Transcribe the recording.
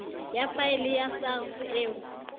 ya faele ya sars eo